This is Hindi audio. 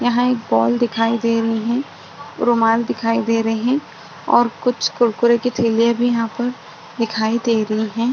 यहाँ एक बॉल दिखाई दे रही रुमाल दिखाई दे रहे और कुछ कुरकुरे के थैलिया भी यहाँ पर दिखाई दे रही है।